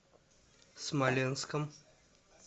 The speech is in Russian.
смоленском